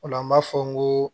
O la an b'a fɔ n ko